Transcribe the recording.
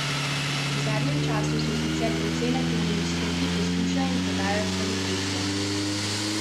V zadnjem času so sicer precej naklonjeni stroki, poslušajo in podajajo kvalitetne informacije.